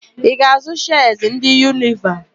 Ị ga-àzụ́ shịas ndị Yunileva?